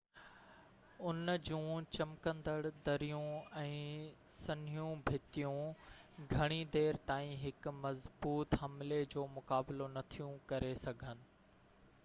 ان جون چمڪندڙ دريون ۽ سنهيون ڀتيون گهڻي دير تائين هڪ مضبوط حملي جو مقابلو نٿيون ڪري سگهن